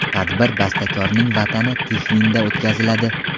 Tadbir bastakorning Vatani Tixvinda o‘tkaziladi.